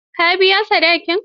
Kar ka biya sadakin.